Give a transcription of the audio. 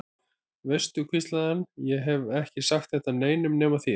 Veistu, hvíslaði hann, ég hef ekki sagt þetta neinum nema þér.